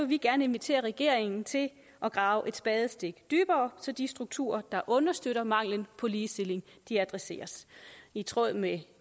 vi gerne invitere regeringen til at grave et spadestik dybere så de strukturer der understøtter mangelen på ligestilling adresseres i tråd med